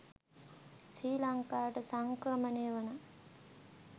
ශ්‍රී ලංකාවට සංක්‍රමණය වන